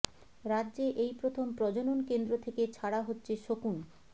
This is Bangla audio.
রাজ্যে এই প্রথম প্রজনন কেন্দ্র থেকে ছাড়া হচ্ছে শকুন